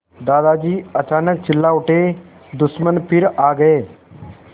दादाजी अचानक चिल्ला उठे दुश्मन फिर आ गए